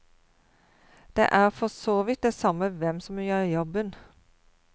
Det er for så vidt det samme hvem som gjør jobben.